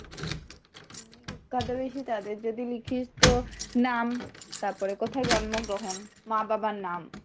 বিখ্যাত বেশি তাদের যদি লিখিস তো নাম তারপরে কোথায় জন্মগ্রহণ, মা বাবার নাম,